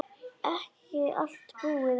Ekki allt búið enn.